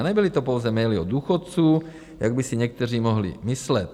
A nebyly to pouze maily od důchodců, jak by si někteří mohli myslet.